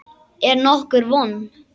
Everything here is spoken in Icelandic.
Er nokkur von?